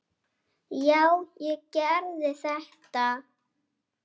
Já, ég gerði þetta!